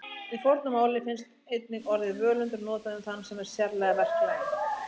Í fornu máli finnst einnig orðið völundur notað um þann sem er sérlega verklaginn.